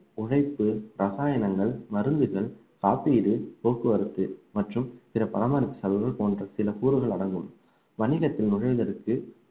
உழைப்பு, ரசாயனங்கள், மருந்துகள், காப்பீடு, போக்குவரத்து மற்றும் பிற பராமரிப்பு செலவுகள் போன்ற சில கூறுகள் அடங்கும் வணிகத்தில் நுழைவதற்கு